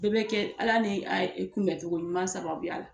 Bɛɛ bɛ kɛ ALA ni kunbɛcogo ɲuman sababuya la.